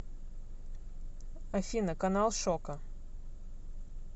афина канал шока